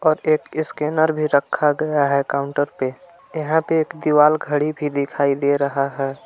और एक स्कैनर भी रखा गया है काउंटर पे यहां पे एक दीवार खड़ी भी दिखाई दे रहा है।